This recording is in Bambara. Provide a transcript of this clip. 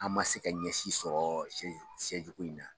An ma se ka ɲɛsin sɔrɔ ko yi na.